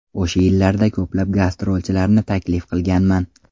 O‘sha yillarda ko‘plab gastrolchilarni taklif qilganman.